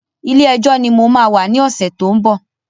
Ilé ìjo náà ni mo máa wà ní ọ̀sẹ̀ to ń bọ̀